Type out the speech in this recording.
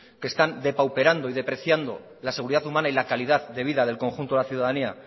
que están depauperando y depreciando la seguridad humana y la calidad de vida del conjunto de la ciudadanía